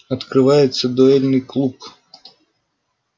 открывается дуэльный клуб